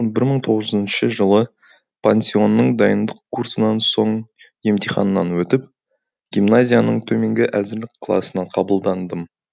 бір мың тоғыз жүзінші жылы пансионның дайындық курсынан соң емтиханнан өтіп гимназияның төменгі әзірлік класына қабылдандым